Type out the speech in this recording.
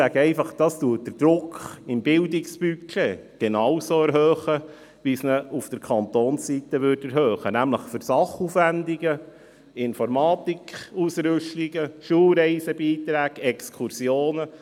Das erhöht den Druck im Bildungsbudget genauso, wie es ihn auf Kantonsseite erhöhen würde, nämlich für Sachaufwendungen, für Informatikausrüstungen, Beiträge an Schulreisen, Exkursionen.